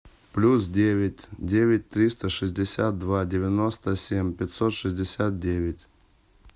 плюс девять девять триста шестьдесят два девяносто семь пятьсот шестьдесят девять